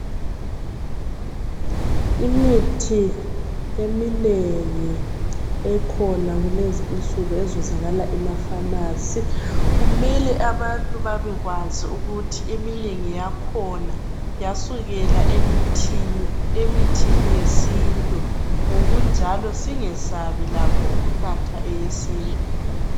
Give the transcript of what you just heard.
Imithi eminengi ekhona kulezi insuku ezuzakala emafasi. Kumele abantu babekwazi ukuthi eminengi yakhona yasukela emithini yesintu. Ngokunjalo singasabi lakho ukunatha yesintu.